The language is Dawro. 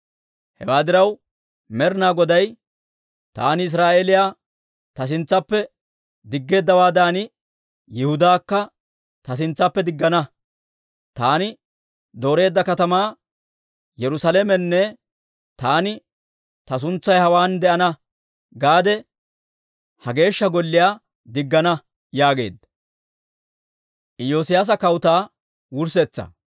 Hewaa diraw Med'ina Goday, «Taani Israa'eeliyaa ta sintsaappe diggeeddawaadan, Yihudaakka ta sintsaappe diggana; taani dooreedda katamaa, Yerusaalamenne taani, ‹Ta suntsay hawaan de'ana› geedda ha Geeshsha Golliyaa diggana» yaageedda.